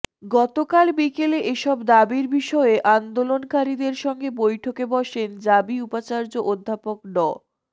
গতকাল বিকেলে এসব দাবির বিষয়ে আন্দোলনকারীদের সঙ্গে বৈঠকে বসেন জাবি উপাচার্য অধ্যাপক ড